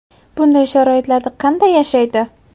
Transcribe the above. Bunday sharoitlarda qanday yashaydi ?